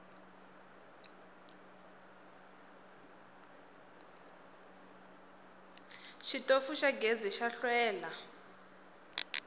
xitofu xa gezi xa hlwela